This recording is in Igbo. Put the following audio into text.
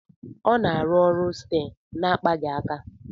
A na-arụ ọrụ steer na akpaghị aka